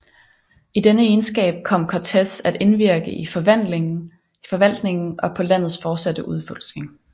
I denne egenskab kom Cortés at indvirke i forvaltningen og på landets fortsatte udforskning